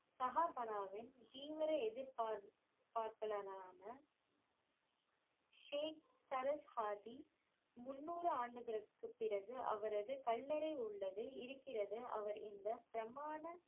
சஹாபனாவின் தீவிர எதிர்ப் பார்ப்பலனரான ஸ்ரீ சரஸ்ஹாதி முந்நூறு ஆண்டுகளுக்குப் பிறகு அவரது கல்லறை உள்ளது இருக்கிறது அவர் இந்த பிரமாண